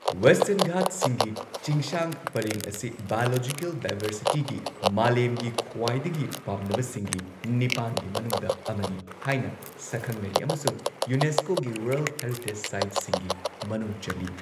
Western ꯘꯥꯠꯁꯤꯡꯒꯤ ꯆꯤꯡꯁꯥꯡ ꯄꯔꯦꯡ ꯑꯁꯤ ꯕꯥꯏꯑꯣꯂꯣꯖꯤꯀꯦꯜ ꯗꯥꯏꯚꯔꯁꯤꯇꯤꯒꯤ ꯃꯥꯂꯦꯝꯒꯤ ꯈ꯭ꯋꯥꯏꯗꯒꯤ ꯄꯥꯝꯅꯕ ꯁꯤꯡꯒꯤ ꯅꯤꯄꯥꯟꯒꯤ ꯃꯅꯨꯡꯗ ꯑꯃꯅꯤ ꯍꯥꯏꯅ ꯁꯛꯈꯪꯅꯔꯤ ꯑꯃꯁꯨꯡ ꯌꯨꯅꯦꯁꯀꯣꯒꯤ ꯋꯥꯔꯜꯗ ꯍꯦꯔꯤꯇꯦꯖ ꯁꯥꯏꯠꯁꯤꯡꯒꯤ ꯃꯅꯨꯡ ꯆꯜꯂꯤ꯫